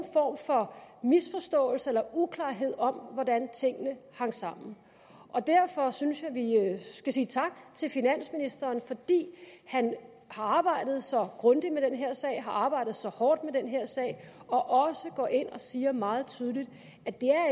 form for misforståelse eller uklarhed om hvordan tingene hang sammen derfor synes jeg vi skal sige tak til finansministeren fordi han har arbejdet så grundigt med den her sag har arbejdet så hårdt med den her sag og også går ind og siger meget tydeligt at det